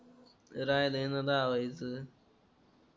राहिलाय ना दहा वाहायचं